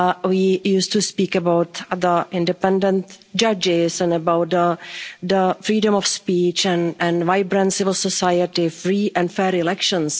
We used to speak about the independent judges and about the freedom of speech and a vibrant civil society, free and fair elections.